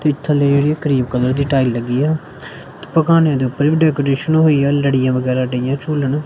ਤੇ ਥੱਲੇ ਏਹ ਕਰੀਮ ਕਲਰ ਦੀ ਟਾਈਲ ਲੱਗੀ ਆ ਪਕਾਨੇ ਤੇ ਉੱਪਰ ਵੀ ਡੈਕੋਰੇਸ਼ਨ ਹੋਈਆ ਲੜੀਆਂ ਵਗੈਰਾ ਡਇਆਂ ਝੂਲਣ।